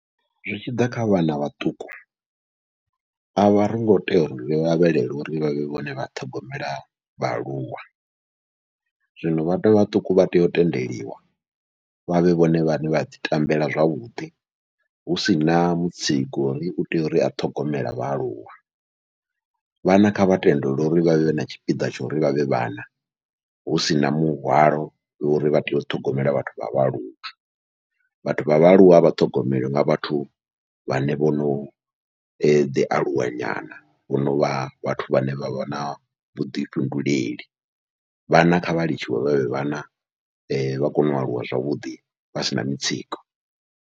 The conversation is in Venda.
Zwi tshiḓa kha vhana vhaṱuku avha ringo tea uri lavhelele uri vhavhe vhone vha ṱhogomela vhaaluwa, zwino vhathu vhaṱuku vha tea u tendeliwa vhavhe vhone vhaṋe vha ḓi tambela zwavhuḓi husina mutsiko wo uri utea uri a ṱhogomele vhaaluwa, vhana kha vha tendeliwe uri vhavhe na tshipiḓa tsha uri vhavhe vhana husina muhwalo wa uri vha tea u ṱhogomela vhathu vha vhaaluwa. Vhathu vha vhaaluwa vha ṱhogomelwe nga vhathu vhane vho noḓi aluwa nyana, vho novha vhathu vhane vha vha na vhuḓifhinduleli vhana kha vha litshiwe vhavhe vhana vha kone u aluwa zwavhuḓi vha sina mutsiko.